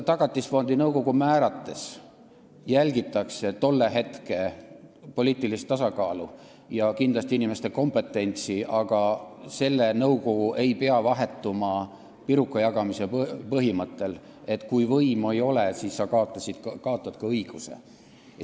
Tagatisfondi nõukogu määrates jälgitakse hetke poliitilist tasakaalu ja kindlasti inimeste kompetentsi, aga selle nõukogu ei pea vahetuma pirukajagamise põhimõttel, et kui võimu ei ole, siis sa kaotad ka õiguse seal olla.